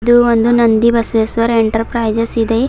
ಇದು ಒಂದು ನಂದಿ ಬಸವೇಶ್ವರ ಎಂಟರ್ಪ್ರೈಸಸ್ ಇದೆ.